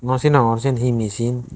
no sinogor siyen he misin.